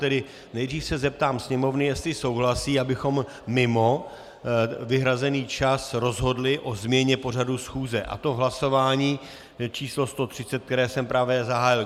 Tedy nejdřív se zeptám Sněmovny, jestli souhlasí, abychom mimo vyhrazený čas rozhodli o změně pořadu schůze, a to v hlasování číslo 130, které jsem právě zahájil.